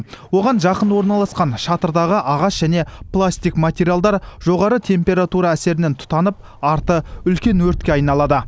оған жақын орналасқан шатырдағы ағаш және пластик материалдар жоғары температура әсерінен тұтанып арты үлкен өртке айналады